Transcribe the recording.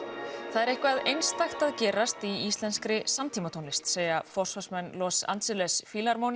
það er eitthvað einstakt að gerast í íslenskri samtímatónlist segja forsvarsmenn Los Angeles